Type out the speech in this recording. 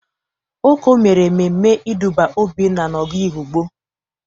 Oko mere ememe ịdụba Obinna n'ogo Ehụgbọ.